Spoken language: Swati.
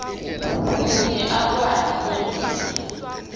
kute akwati kwengeta